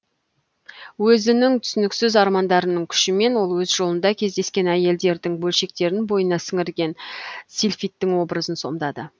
өзінің түсініксіз армандарының күшімен ол өз жолында кездескен әйелдердің бөлшектерін бойына сіңірген сильфидтің образын сомдады